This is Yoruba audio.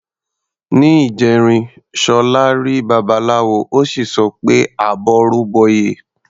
Ní ìjẹrin, Ṣọlá rí Babaláwo, ó sì sọ pé "àbọrú bọyè".